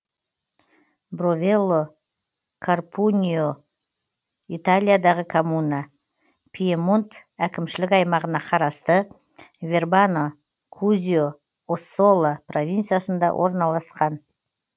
бровелло карпуньино италиядағы коммуна пьемонт әкімшілік аймағына қарасты вербано кузьо оссола провинциясында орналасқан